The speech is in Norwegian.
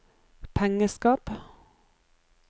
pengeskap